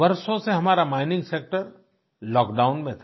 वर्षों से हमारा माइनिंग सेक्टर लॉकडाउन में था